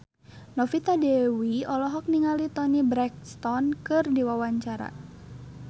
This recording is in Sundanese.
Novita Dewi olohok ningali Toni Brexton keur diwawancara